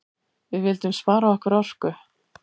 Við vildum spara okkar orku.